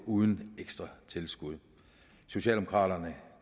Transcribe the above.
uden ekstra tilskud socialdemokraterne